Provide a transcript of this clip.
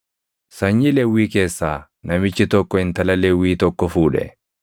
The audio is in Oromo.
Sanyii Lewwii keessaa namichi tokko intala Lewwii tokko fuudhe;